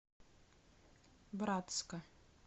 братска